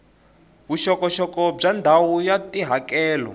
vuxokoxoko bya ndhawu ya tihakelo